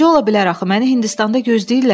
Necə ola bilər axı məni Hindistanda gözləyirlər?